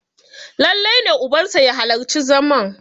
lallai ne ubansa ya halarci zaman!